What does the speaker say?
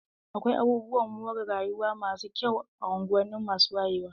Akwai abubuwan more rayuwa masu kyau a unguwanni masu wayewa.